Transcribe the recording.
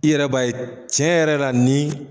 I yɛrɛ b'a ye cɛn yɛrɛ la nin